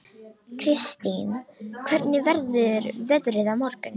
Kristine, hvernig verður veðrið á morgun?